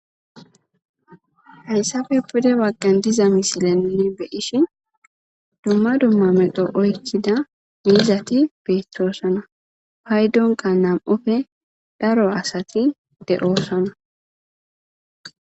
Hayssafe pude wagqan diza misilanne beyishi dumma dumma medo oychida miizati beethtoosana paydonka nam'ofe daro asati de'oosana.